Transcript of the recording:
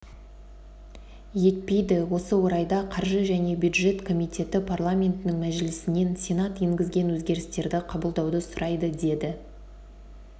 етпейді осы орайда қаржы және бюджет комитеті парламентінің мәжілісінен сенат енгізген өзгерістерді қабылдауды сұрайды деді